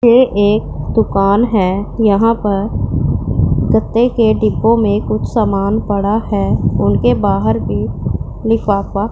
ये एक दुकान है यहां पर गत्ते के डिब्बों में कुछ सामान पड़ा है उनके बाहर भी लिफाफा--